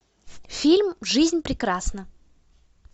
фильм жизнь прекрасна